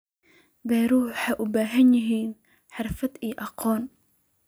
Beeruhu waxay u baahan yihiin xirfad iyo aqoon.